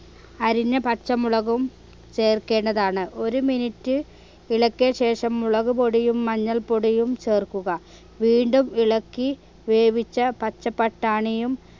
അരിഞ്ഞ പച്ചമുളകും ചേർക്കേണ്ടതാണ് ഒരു minute ഇളക്കിയ ശേഷം മുളക്പൊടിയും മഞ്ഞൾപൊടിയും ചേർക്കുക വീണ്ടും ഇളക്കി വേവിച്ച പച്ച പട്ടാണിയും